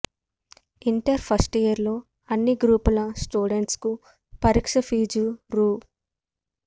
inter first year లో అన్ని గ్రూపుల స్టూడెంట్స్ కు పరీక్ష ఫీజు రూ